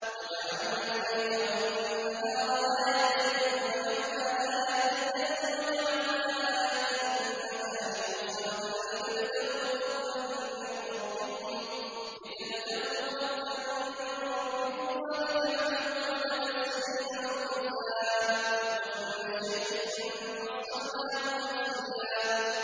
وَجَعَلْنَا اللَّيْلَ وَالنَّهَارَ آيَتَيْنِ ۖ فَمَحَوْنَا آيَةَ اللَّيْلِ وَجَعَلْنَا آيَةَ النَّهَارِ مُبْصِرَةً لِّتَبْتَغُوا فَضْلًا مِّن رَّبِّكُمْ وَلِتَعْلَمُوا عَدَدَ السِّنِينَ وَالْحِسَابَ ۚ وَكُلَّ شَيْءٍ فَصَّلْنَاهُ تَفْصِيلًا